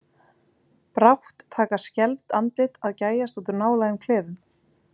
Brátt taka skelfd andlit að gægjast út úr nálægum klefum.